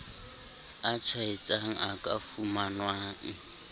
a tshwaetsang a ka fumanwang